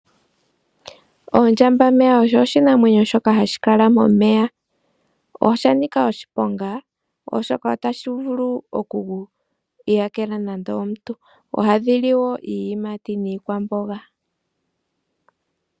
Ondjambameya oshinanwenyo shoka hashi kala momeya, osha nika oshiponga oshoka ohashi vulu oku yakela omuntu. Ohadhi li wo iiyimati niikwamboga.